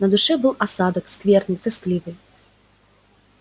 на душе был осадок скверный тоскливый